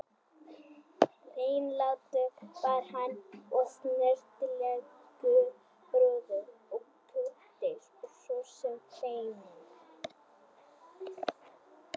Hreinlátur var hann og snyrtilegur, prúður og kurteis og svo sem feiminn.